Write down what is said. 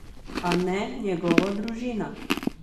A ne njegova družina.